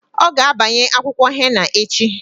Ọ ga abanye akwụkwọ henna echi.